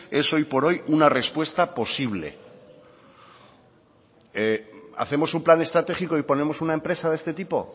es hoy por hoy una respuesta posible hacemos un plan estratégico y ponemos una empresa de este tipo